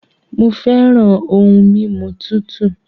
Mo fẹràn ohun mímu tútù